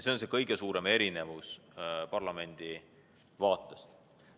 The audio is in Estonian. See on see kõige suurem erinevus parlamendi seisukohast vaadates.